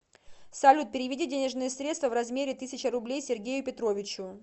салют переведи денежные средства в размере тысячи рублей сергею петровичу